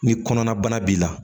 Ni kɔnɔna bana b'i la